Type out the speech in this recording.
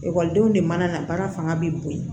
Ekɔlidenw de mana na baara fanga bɛ bonya